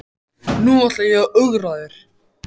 Nú ætla ég að ögra þér.